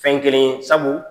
Fɛn kelen ye sabu